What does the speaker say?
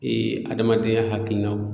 Ee adamadenya hakilinaw